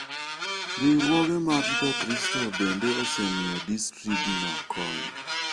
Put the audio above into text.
Riwruoge mag Jokristo bende osemiyo distriktno kony.